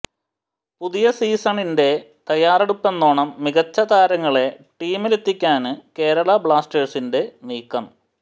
പുതിയ സീസണിന്റെ തയാറെറടുപ്പെന്നോണം മികച്ച താരങ്ങളെ ടീമിലെത്തിക്കാന് കേരളാ ബ്ലാസ്റ്റേഴ്സിന്റെ നീക്കം